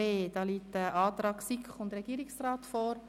Hier liegt ein Antrag von SiK und Regierungsrat vor.